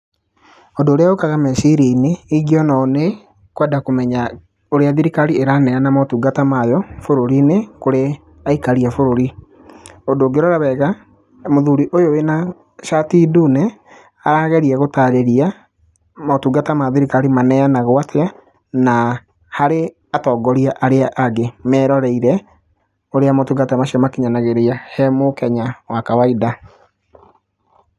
Ũndũ ũrĩa ũkaga meciria-inĩ ĩngĩona ũũ nĩ kwenda kũmenya ũria thirikari ĩraneana motungata mayo bũrũri-inĩ kũrĩ aikari a bũrũri. Ũndũ ũngĩrora wega, mũthũri ũyũ wĩna cati nduune arageria gũtarĩria motungata ma thirikari maneanagwo atĩa na harĩ atongoria arĩa angĩ meroreire ũrĩa motungata macio makinyanagerio he mũkenya wa kawainda.